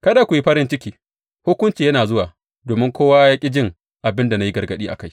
Kada ku yi farin ciki, hukunci yana zuwa, domin kowa ya ƙi jin abin da na yi gargaɗi a kai.